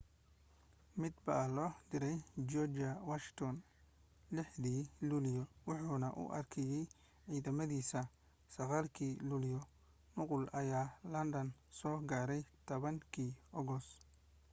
mid baa loo diray george washington 6 dii luulyo wuxuna u akhriyay ciidamadiisa 9 kii luulyo nuqul ayaa london soo gaaray 10 kii ogos